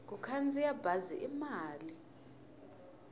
ku khandziya bazi i mali